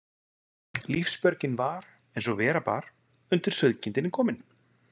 Lífsbjörgin var, eins og vera bar, undir sauðkindinni kominn.